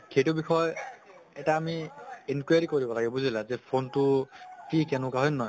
সেইটো বিষয়ে এটা আমি inquiry কৰিব লাগে বুজিলা phone টো কি কেনকা হয় নে নহয়?